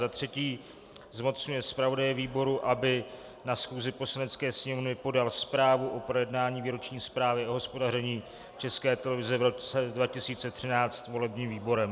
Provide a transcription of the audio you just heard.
za třetí zmocňuje zpravodaje výboru, aby na schůzi Poslanecké sněmovny podal zprávu o projednání výroční zprávy o hospodaření České televize v roce 2013 volebním výborem.